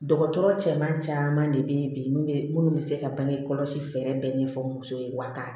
Dɔgɔtɔrɔ caman de bɛ bi minnu bɛ se ka bange kɔlɔsi fɛɛrɛ bɛɛ ɲɛfɔ muso ye wa ka